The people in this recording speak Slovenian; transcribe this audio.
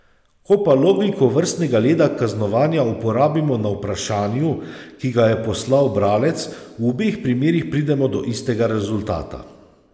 Ko pa logiko vrstnega reda kaznovanja uporabimo na vprašanju, ki ga je poslal bralec, v obeh primerih pridemo do istega rezultata.